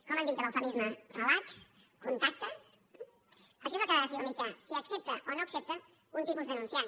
com en dic de l’eufemisme relax contactes això és el que ha de decidir el mitjà si accepta o no accepta un tipus d’anunciant